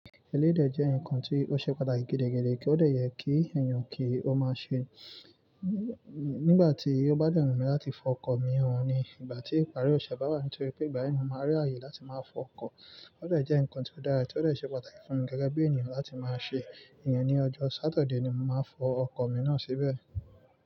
Ẹlẹ́yi dẹ̀ jẹ́ nǹkan tí ó ṣe pàtàkì gidigidi, kí ó de yẹ kí èèyàn kí ó máa ṣe nígbà tí ó bá dẹ wùnmí láti fọ ọkọ̀ míì han ní ìgbà tí ìparí òṣè bá wà. Nítorí pé ìgbà yẹn, mo máa rí ààyè láti máa fọ ọkọ̀. Ó de jẹ́ nǹkan tí ó dára, tí ó dàá ṣe pàtàkì fún mi gẹ́gẹ́ bí èèyàn láti máa ṣe. Ìyẹn ní ọjọ́ sáturday ni mo máa fọ ọkọ̀ mi náà síbẹ̀.